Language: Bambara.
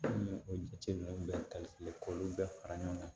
N y'o jateminɛw bɛɛ k'olu bɛɛ fara ɲɔgɔn kan